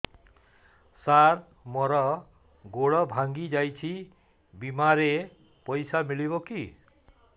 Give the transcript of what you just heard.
ସାର ମର ଗୋଡ ଭଙ୍ଗି ଯାଇ ଛି ବିମାରେ ପଇସା ମିଳିବ କି